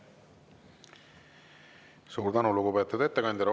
Suur tänu, lugupeetud ettekandja!